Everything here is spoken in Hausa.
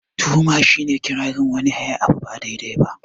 Tuhuma shi ne iƙirarin wani yayi abunda ba daidai ba